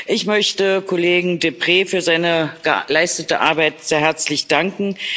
Ich möchte Kollegen Deprez für seine geleistete Arbeit sehr herzlich danken.